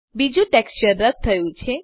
બીજું ટેક્સચર રદ થયું છે